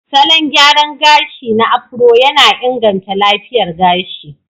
Salon gyara gashi na Afro yana inganta lafiyar gashi.